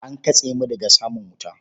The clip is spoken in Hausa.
An katse mu daga samun wuta.